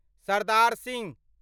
Sardar Singh